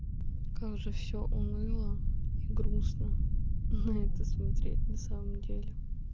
как же все уныло и грустно на это смотреть на самом деле